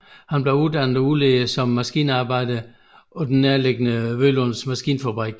Han blev uddannet og udlært som maskinarbejder på den nærliggende Vølunds maskinfabrik